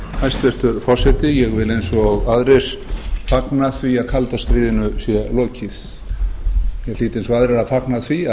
hæstvirtur forseti ég vil eins og aðrir fagna því að kalda stríðinu sé lokið ég hlýt eins og aðrir að fagna því